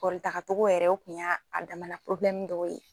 Kɔritaga togo yɛrɛ o kun y'a a damana porobilɛmu dɔ ye